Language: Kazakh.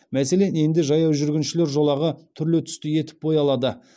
мәселен енді жаяу жүргіншілер жолағы түрлі түсті етіп боялады